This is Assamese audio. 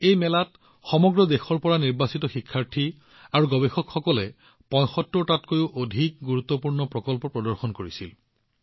এই মেলাত সমগ্ৰ দেশৰ পৰা অহা শিক্ষাৰ্থী আৰু গৱেষকসকলে ৭৫টাতকৈও অধিক শ্ৰেষ্ঠ প্ৰকল্প প্ৰদৰ্শন কৰিছিল